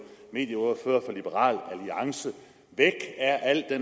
medieordfører for liberal alliance væk er al